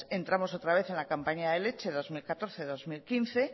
entramos otra vez en la campaña de leche dos mil catorce dos mil quince